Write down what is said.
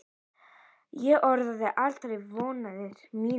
Ég orðaði aldrei vonir mínar.